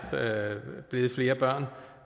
blevet flere